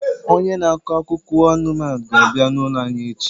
Onye na-akọ akụkọ anụmanụ ga-abịa n'ụlọ anyị echi